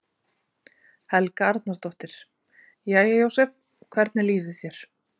Helga Arnardóttir: Jæja Jósef, hvernig líður þér?